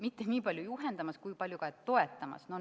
Mitte niipalju juhendamas, kui et toetamas.